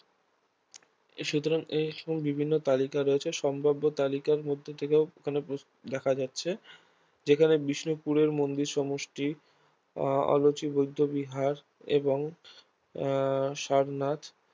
সুতরাং এসব বিভিন্ন তালিকা রয়েছে সম্ভাব্য তালিকার মধ্য থেকে এখানে দেখা যাচ্ছে যেখানে বিষ্ণুপুরের মন্দির সমষ্টি আহ আলচি বৌদ্ধবিহার এবং আহ সারনাথ